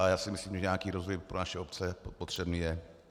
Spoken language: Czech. A já si myslím, že nějaký rozvoj pro naše obce potřebný je.